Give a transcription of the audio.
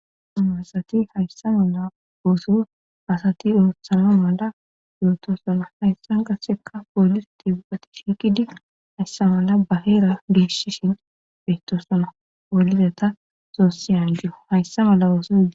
a asati hayssa mala ooso asati doothshana mala yootosana hayssa gassekka poolisati ubati shinkidi hayssa mala baheera geeshshishin beyttosana poliza ta soossiyaju hayssa mala ooso